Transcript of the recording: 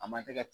A man tɛgɛ